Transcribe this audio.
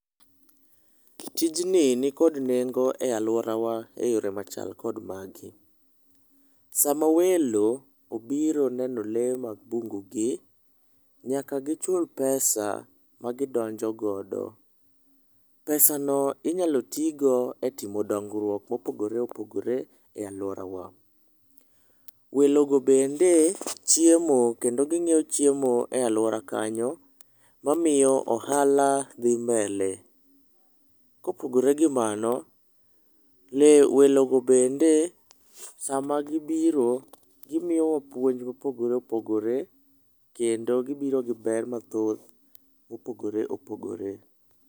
Tijni nikod nengo e aluorawa e yore machal kod magi: sama welo obiro neno lee mag bungu gi, nyaka gichul pesa ma gidonjo godo. Pesano inyalo togo e timo dongruok mopogore opogore aluorawa. Welogo bende chiemo kendo ginyiewo chiemo e aluora kanyo mamiyo ohala dhi mbele. Kopogore gi mano we welogo bende sama gibiro gimiyowa puonj mopogore opogore kendo gibiro gi ber mathoth mopogore opogore.